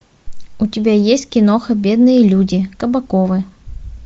у тебя есть киноха бедные люди кабаковы